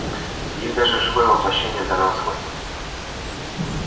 есть даже живое воплощение данного свойства